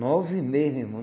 Nove e meia, meu irmão.